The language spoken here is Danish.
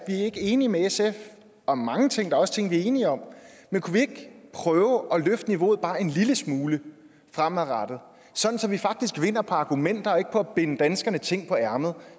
er ikke enige med sf om mange ting der er også ting vi er enige om men kunne vi ikke prøve fremover at løfte niveauet bare en lille smule så vi faktisk vinder på argumenter og ikke på at binde danskerne ting på ærmet